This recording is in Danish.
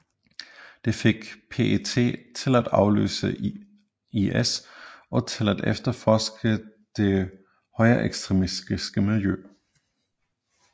Det fik PET til at aflytte IS og til at efterforske det højreekstremistiske miljø